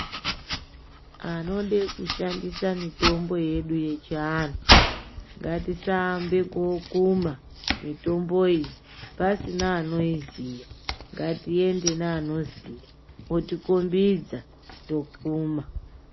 Anode kushandisa mitombo yedu yechianhu, ngatisaambe ekookuma mitomboyi, pasina anoiziya. Ngatiende. neanoiziya, otikhombidza tokuma.